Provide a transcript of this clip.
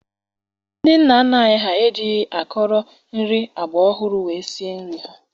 Ndị nna nna anyị ejighi akọrọ nri agbaọhụrụ wee sie nri ha